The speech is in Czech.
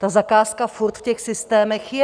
Ta zakázka furt v těch systémech je.